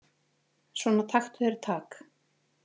Svona taktu þér tak.